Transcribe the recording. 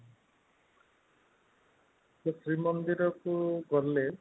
ଶ୍ରୀ ମନ୍ଦିର କୁ ଗଲେ